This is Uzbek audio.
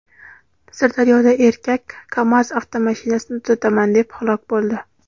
Sirdaryoda erkak "Kamaz" avtomashinasini tuzataman deb halok bo‘ldi.